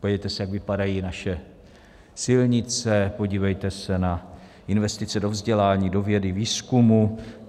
Podívejte se, jak vypadají naše silnice, podívejte se na investice do vzdělání, do vědy, výzkumu.